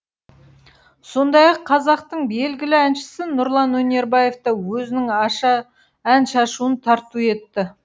сондай ақ қазақтың белгілі әншісі нұрлан өнербаев та өзінің ән шашуын тарту етті